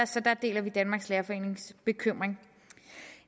så der deler vi danmarks lærerforenings bekymring